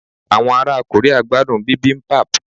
awọn ara Korea gbadun Bibimbap